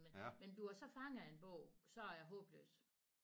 Men men du er så fanget af en bog så er jeg håbløs